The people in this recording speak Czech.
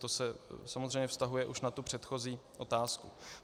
To se samozřejmě vztahuje už na tu předchozí otázku.